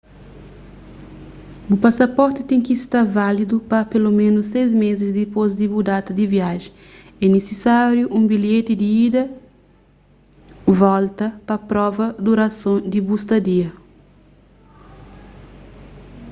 bu pasaporti ten ki sta válidu pa peloménus 6 més dipôs di bu data di viajen. é nisisáriu un bilheti di ida/volta pa prova durason di bu stadia